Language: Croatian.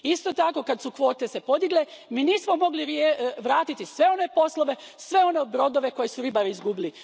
Isto tako, kad su se kvote podigle, mi nismo mogli vratiti sve one poslove, sve one brodove koje su ribari izgubili.